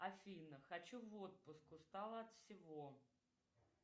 афина хочу в отпуск устала от всего